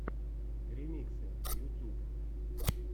ремиксы ютюб